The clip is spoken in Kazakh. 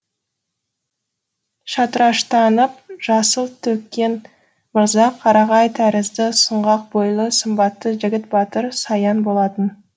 шатыраштанып жасыл төккен мырза қарағай тәрізді сұңғақ бойлы сымбатты жігіт батыр саян болатын